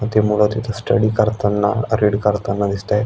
व ते मूल तिथ स्टडी करताना रीड करताना दिसतोय.